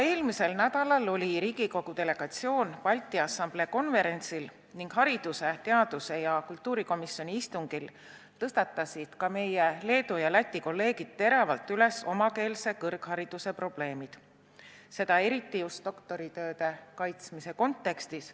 Eelmisel nädalal oli Riigikogu delegatsioon Balti Assamblee konverentsil ning haridus-, teadus- ja kultuurikomisjoni istungil tõstatasid meie Leedu ja Läti kolleegid teravalt üles omakeelse kõrghariduse probleemi, eriti just doktoritööde kaitsmise kontekstis.